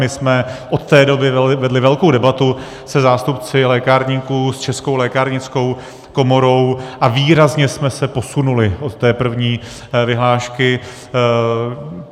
My jsme od té doby vedli velkou debatu se zástupci lékárníků, s Českou lékárnickou komorou, a výrazně jsme se posunuli od té první vyhlášky.